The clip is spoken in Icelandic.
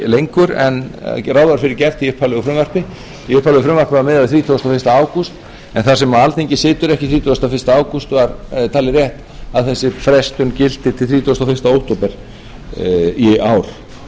lengur en ráð var fyrir gert í upphaflegu frumvarpi í upphaflegu frumvarpi var miðað við þrítugustu og fyrsta ágúst en þar sem alþingi situr ekki þrítugasta og fyrsta ágúst var talið rétt að þessi frestun gilti til þrítugasta og